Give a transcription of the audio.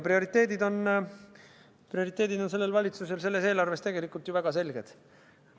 Prioriteedid on sellel valitsusel selles eelarves tegelikult ju väga selged.